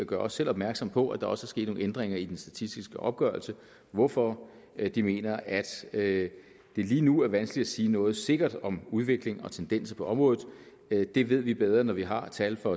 gør også selv opmærksom på at der er sket nogle ændringer i de statistiske opgørelser hvorfor de mener at at det lige nu er vanskeligt at sige noget sikkert om udvikling og tendenser på området det ved vi bedre når vi har tal for